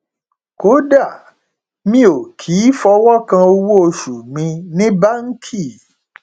kódà mi ò kì í fọwọ kan owóoṣù mi ní báńkì